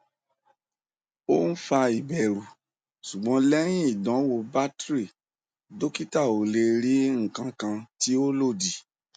o n fa iberu sugbon lehin idanwo battery dokita o le ri ikankan ti o lodi